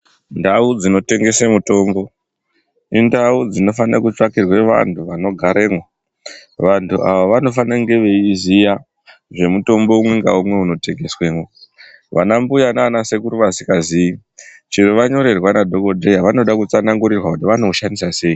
Ndau dzinotengesa mutombo indau dzinofanira kutsvakirwe vantu vanogaremwo, vantu ava vanofane kunge veiziya zvimotombo umwe ngaumwe unotengesemwo. Vanambuya nanasekuru vasikazii chero vanyorerwa nadhogodheya vanoda kutsanangurirwa kuti vanoushandisa sei.